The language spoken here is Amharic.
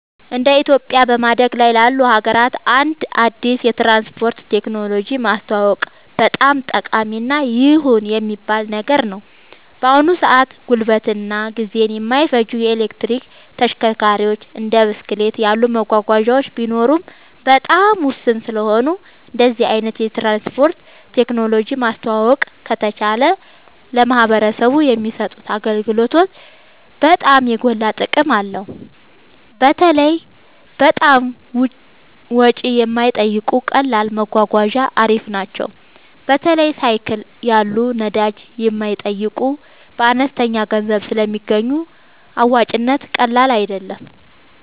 እንደ ኢትዮጵያ በማደግ ላይ ላሉ ሀገራት አንድ አዲስ የትራንስፖርት ቴክኖሎጂ ማስተዋወቅ በጣም ጠቃሚ እና ይሁን የሚባል ነገር ነው። በአሁን ሰአት ጉልበትን እና ጊዜን የማይፈጁ የኤሌክትሪክ ተሽከርካሪዎች እንደ ብስክሌት ያሉ መጓጓዣዎች ቢኖሩም በጣም ውስን ስለሆኑ እንደዚህ አይነት የትራንስፖርት ቴክኖሎጂ ማስተዋወቅ ከተቻለ ለማህበረሰቡ የሚሰጡት አገልግሎት በጣም የጎላ ጥቅም አለው። በተለይ በጣም ወጪ የማይጠይቁ ቀላል መጓጓዣ አሪፍ ናቸው። በተለይ ሳይክል ያሉ ነዳጅ የማይጠይቁ በአነስተኛ ገንዘብ ስለሚገኙ አዋጭነቱ ቀላል አይደለም